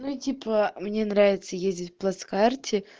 ну типа мне нравится ездить в плацкарте